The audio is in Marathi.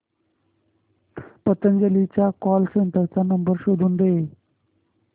पतंजली च्या कॉल सेंटर चा नंबर शोधून दे